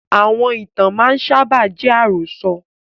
Àwọn ìtàn máa ń sábà jẹ́ àròsọ̀